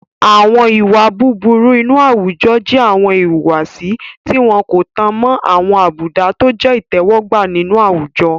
Àwọn ìwà búburú inú àwùjọ jẹ́ àwọn ìwùwàsí tí wọ́n kò tan mọ́ àwọn àbùdá tọ jẹ́ ìtẹ́wọ́gbà nínú àwùjọ.